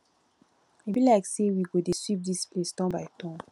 e be like say we go dey sweep dis place turn by turn